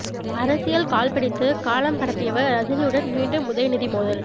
அரசியல் கால் பிடித்து காலம் கடத்தியவர் ரஜினியுடன் மீண்டும் உதயநிதி மோதல்